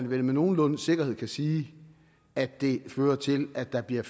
vel med nogenlunde sikkerhed kan sige at det fører til at der bliver